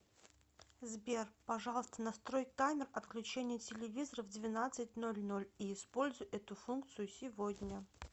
сбер пожалуйста настрой таймер отключения телевизора в двенадцать ноль ноль и используй эту функцию сегодня